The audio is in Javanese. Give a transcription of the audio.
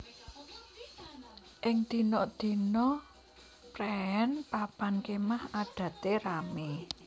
Ing dina dina préén papan kémah adate ramé